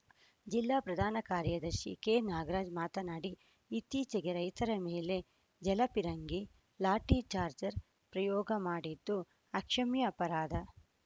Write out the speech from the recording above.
ಜಿಲ್ಲಾ ಪ್ರಧಾನ ಕಾರ್ಯದರ್ಶಿ ಕೆನಾಗರಾಜ್‌ ಮಾತನಾಡಿ ಇತ್ತೀಚೆಗೆ ರೈತರ ಮೇಲೆ ಜಲ ಪಿರಂಗಿ ಲಾಠಿ ಚಾರ್ಜರ್ ಪ್ರಯೋಗ ಮಾಡಿದ್ದು ಅಕ್ಷಮ್ಯ ಅಪರಾಧ